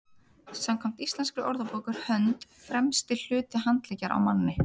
samkvæmt íslenskri orðabók er hönd „fremsti hluti handleggjar á manni